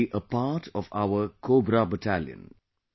They will be a part of our Cobra Battalion